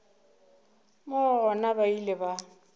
moo gona ba ile ba